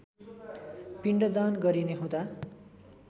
पिण्डदान गरिने हुँदा